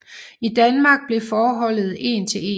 I Danmark blev forholdet én til én